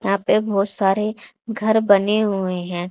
यहां पे बहोत सारे घर बने हुए हैं।